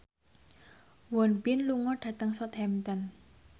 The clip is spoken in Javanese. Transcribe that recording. Won Bin lunga dhateng Southampton